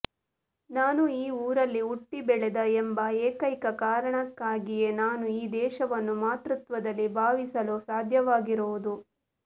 ನಾನು ಈ ಊರಲ್ಲಿ ಹುಟ್ಟಿ ಬೆಳೆದೆ ಎಂಬ ಏಕೈಕ ಕಾರಣಕ್ಕಾಗಿಯೇ ನಾನು ಈ ದೇಶವನ್ನು ಮಾತೃತ್ವದಲ್ಲಿ ಭಾವಿಸಲು ಸಾಧ್ಯವಾಗಿರುವುದು